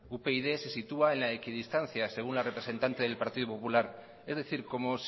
upyd se sitúa en la equidistancia según la representante del partido popular es decir como